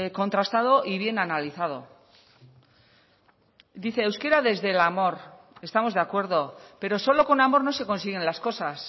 contrastado y bien analizado dice euskera desde el amor estamos de acuerdo pero solo con amor no se consiguen las cosas